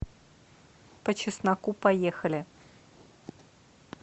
по чесноку поехали